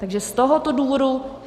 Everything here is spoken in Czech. Takže z tohoto důvodu.